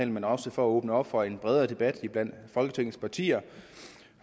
men også for at åbne op for en bredere debat blandt folketingets partier